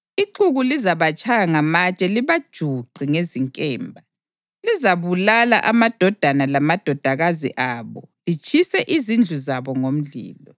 Ixuku lizabatshaya ngamatshe libajuqe ngezinkemba; lizabulala amadodana lamadodakazi abo litshise izindlu zabo ngomlilo.